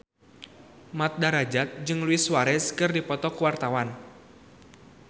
Mat Drajat jeung Luis Suarez keur dipoto ku wartawan